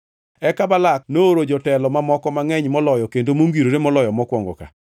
Eka Balak nooro jotelo mamoko mangʼeny moloyo kendo mongirore moloyo mokwongo ka.